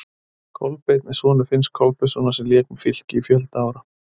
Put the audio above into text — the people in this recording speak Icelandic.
Kolbeinn er sonur Finns Kolbeinssonar sem lék með Fylki í fjölda ára.